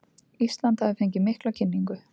Ísland hafi fengið mikla kynningu